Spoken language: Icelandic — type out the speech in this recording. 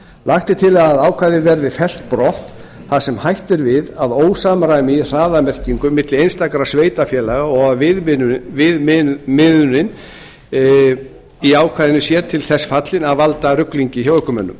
lagt er til að ákvæðið verði fellt brott þar sem hætt er við að ósamræmi í hraðamerkingum milli einstakra sveitarfélaga og að viðmiðunin í ákvæðinu sé til þess fallin að valda ruglingi hjá ökumönnum